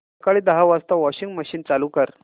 सकाळी दहा वाजता वॉशिंग मशीन चालू कर